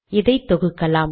இதை தொகுக்கலாம்